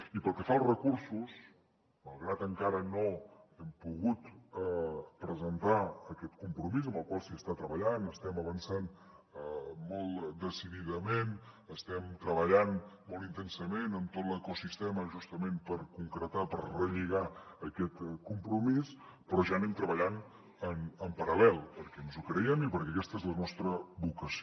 i pel que fa als recursos malgrat que encara no hem pogut presentar aquest compromís amb el qual s’està treballant estem avançant molt decididament estem treballant molt intensament amb tot l’ecosistema justament per concretar per relligar aquest compromís però ja anem treballant en paral·lel perquè ens ho creiem i perquè aquesta és la nostra vocació